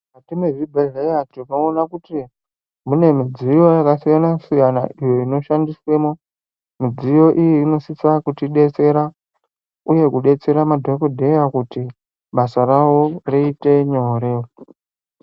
Mukati mwezvibhehleya tinoona kuti mune midziyo yakasiyana -siyana iyo inoshandiswemo. Midziyo iyi inosisa kutibatsira uye kudetsera madhokodheya kuti basa ravo riite nyore.